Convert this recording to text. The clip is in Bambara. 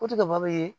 Ko ti ka bɔ ye